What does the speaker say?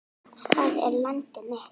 Það er landið mitt!